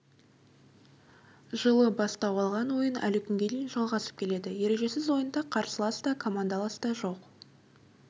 жылы бастау алған ойын әлі күнге дейін жалғасып келеді ережесіз ойында қарсылас та командалас та жоқ